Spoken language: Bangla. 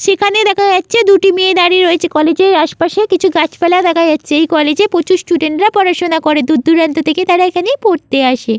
সেখানে দেখা যাচ্ছে দুটি মেয়ে দাড়িয়ে রয়েছে কলেজের আসেপাশে কিছু গাছপালা দেখা জাচ্ছে এই কলেজে প্রচুর স্টুডেন্ট রা পড়াশোনা করে দূর দুরান্ত থেকে তারা এখানে পড়তে আসে।